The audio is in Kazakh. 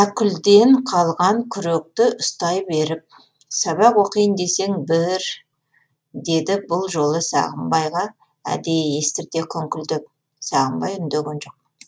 әкүлден қалған күректі ұстай беріп сабақ оқиын десең бір деді бұл жолы сағымбайға әдейі естірте күңкілдеп сағымбай үндеген жоқ